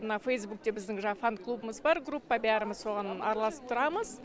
мына фейзбукте біздің жаңа фан клубымыз бар группа бәріміз соған араласып тұрамыз